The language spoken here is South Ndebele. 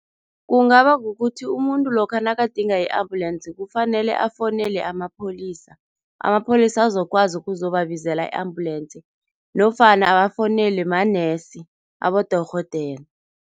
Kungaba kukuthi umuntu lokha nakadinga i-ambulensi, kufanele afowunele amapholisa. Amapholisa azokwazi ukuzobabizela i-ambulensi nofana bafowunelwe manesi, abodorhodere.